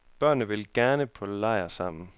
Børnene vil gerne på lejr sammen.